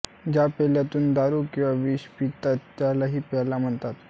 ज्या पेल्यातून दारू किंवा विष पितात त्यालाही प्याला म्हणतात